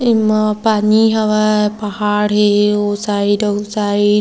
इनमा पानी हवा पहाड़ है और साइड ओ साइड ।